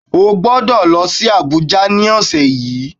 O ò gbọ́dọ̀ lọ sí Abuja ni ọ̀sẹ̀ yìí